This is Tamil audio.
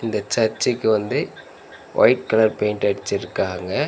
இந்த சர்ச்சுக்கு வந்து ஒயிட் கலர் பெயிண்ட் அடிச்சுருக்காங்க.